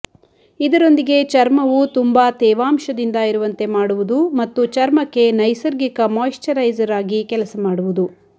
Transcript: ಇದರೊಂದಿಗೆ ಚರ್ಮವು ತುಂಬಾ ತೇವಾಂಶದಿಂದ ಇರುವಂತೆ ಮಾಡುವುದು ಮತ್ತು ಚರ್ಮಕ್ಕೆ ನೈಸರ್ಗಿಕ ಮೊಶ್ಚಿರೈಸರ್ ಆಗಿ ಕೆಲಸ ಮಾಡುವುದು